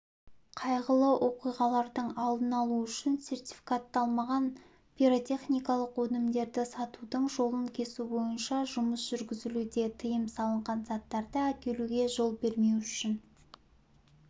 қайғылы оқиғалардың алдын алу үшін сертификатталмаған пиротехникалық өнімдерді сатудың жолын кесу бойынша жұмыс жүргізілуде тыйым салынған заттарды әкелуге жол бермеу үшін